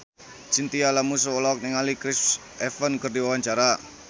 Chintya Lamusu olohok ningali Chris Evans keur diwawancara